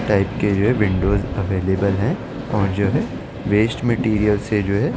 Type के जो है विंडोज अवेलेबल है और जो है वेस्ट मटेरियल से जो है ।